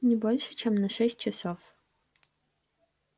не больше чем на шесть часов